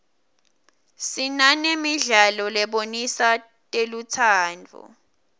sinanemidlalo lebonisa telutsandvo